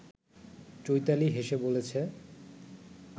চৈতালি হেসে বলেছে